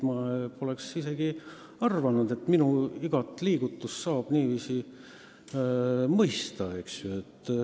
Ma poleks iial arvanud, et minu igat liigutust saab niiviisi mõista.